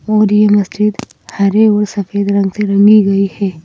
और यह मस्जिद हरे और सफेद रंग से रंगी गई है।